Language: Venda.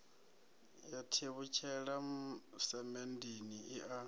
ya tevhutshela semenndeni i a